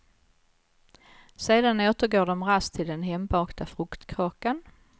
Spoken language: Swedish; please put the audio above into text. Sedan återgår de raskt till den hembakta fruktkakan.